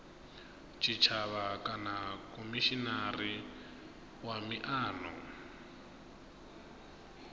tshitshavha kana khomishinari wa miano